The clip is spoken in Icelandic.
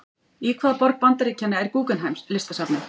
Í hvaða borg Bandaríkjanna er Guggenheim-listasafnið?